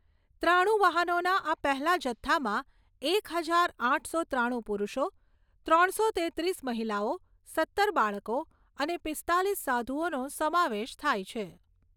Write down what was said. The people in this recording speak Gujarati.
ત્રાણુ વાહનોના આ પહેલા જથ્થામાં એક હજાર આઠસો ત્રાણું પુરુષો, ત્રણસો તેત્રીસ મહિલાઓ, સત્તર બાળકો અને પીસ્તાલીસ સાધુઓનો સમાવેશ થાય છે.